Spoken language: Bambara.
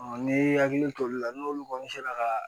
ne hakili to olu la n'olu kɔni sera ka